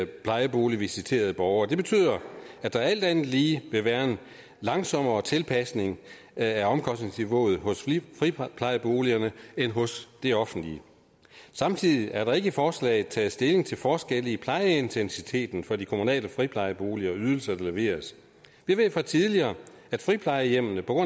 plejeboligvisiterede borgere det betyder at der alt andet lige vil være en langsommere tilpasning af omkostningsniveauet hos friplejeboligerne end hos det offentlige samtidig er der ikke i forslaget taget stilling til forskelle i plejeintensiteten for de kommunale friplejeboliger og ydelser der leveres jeg ved fra tidligere at friplejehjemmene på